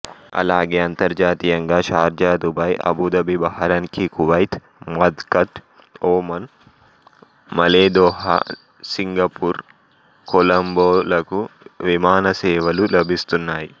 అలాగే అంతర్జాతీయంగా Sharjah Dubai Abu Dhabi Bahrain Kuwait Muscat Oman Male Doha Singapore Colombo లకు విమానసేవలు లభిస్తున్నాయి